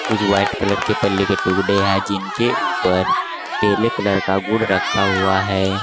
कुछ white colour के बल्ले के जिनके ऊपर पीले कलर का गुड़ रखा हुआ है।